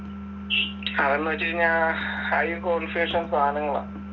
അതെന്ന് വെച്ചുകഴിഞ്ഞാൽ high configuration സാധനങ്ങളാ